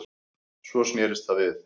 Svo snerist það við